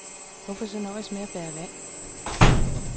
Hvorfor så nøjes med at bære vand?